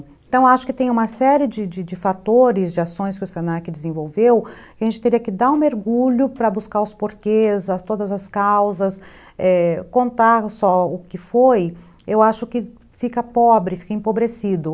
Então acho que tem uma série de de de fatores, de ações que o se na que desenvolveu, que a gente teria que dar um mergulho para buscar os porquês, todas as causas, contar só o que foi, eu acho que fica pobre, fica empobrecido.